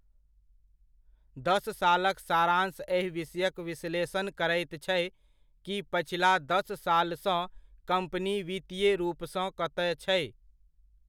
दस सालक सारांश एहि विषयक विश्लेषण करैत छै, कि पछिला दस सालसँ कम्पनी वित्तीय रूपसँ कतय छै।